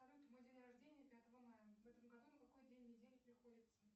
салют мой день рождения пятого мая в этом году на какой день недели приходится